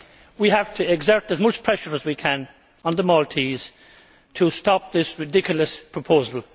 We have to exert as much pressure as we can on the Maltese to stop this ridiculous proposal.